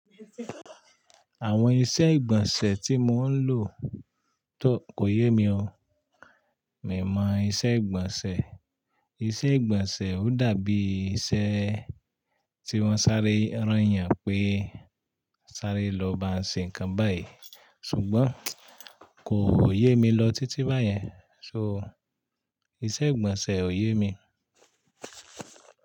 Àwọn iṣẹ́ ìgbọ̀nsẹ̀ tí mò ń lò tó kò yé mi o. Mi mọ iṣẹ́ ìgbọ̀nsẹ̀, iṣẹ́ ìgbọ̀nsẹ̀ ò dàbí iṣẹ́ tí wọ́n sáré rán ènìyàn pé sáré lọ ba ṣe nǹkan báyìí ṣùgbọ́n kò yé mi lọ títí báyẹn. So iṣẹ́ ìgbọ̀nsẹ̀ ò yé mi.